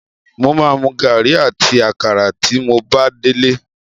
Mo máa mu gàrí àti àkàrà. tí mo bá délé.